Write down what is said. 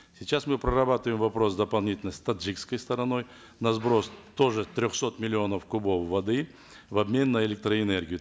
сейчас мы прорабатываем вопрос дополнительно с таджикской стороной на сброс тоже трехсот миллионов кубов воды в обмен на электроэнергию